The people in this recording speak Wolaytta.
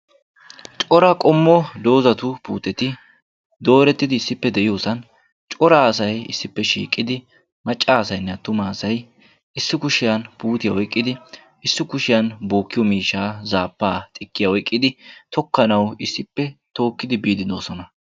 Cora qommo doozatu puuteti doorettidi issippe diyosan cora asayi issippe shiiqidi macca asaynne attuma asayi issi kushiyan puutiya oyqqidi issi kushiyan bookkiyo miishshaa zaabbaa, xikkiya oyqqidi tokkanawu issippe tookkidi biiddi doosona.